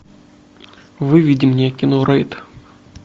выведи мне кино рейд